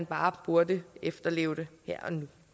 bare burde efterleves her